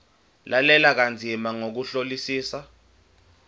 lalela kanzima ngokuhlolisisa